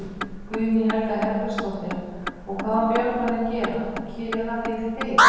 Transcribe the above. Guðný Helga Herbertsdóttir: Og hvað á Björgvin að gera, gera fyrir þig?